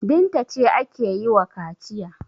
Binta ce ake yi wa kaciya.